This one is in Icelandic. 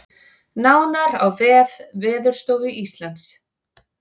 Nánar á vef Veðurstofu Íslands